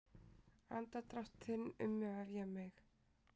Andardrátt þinn umvefja mig.